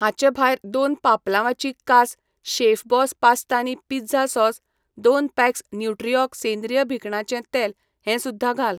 हांचे भायर दोन पापलांवाची कास शेफबॉस पास्ता आनी पिझ्झा सॉस, दोन पॅक्स न्यूट्रिऑर्ग सेंद्रीय भिकणांचें तेल हें सुध्दां घाल.